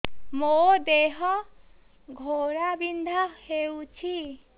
ମୋ ଦେହ ଘୋଳାବିନ୍ଧା ହେଉଛି